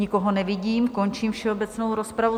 Nikoho nevidím, končím všeobecnou rozpravu.